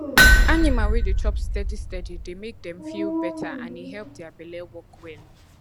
animal wey dey chop steady steady dey make dem feel better and e help their belle work well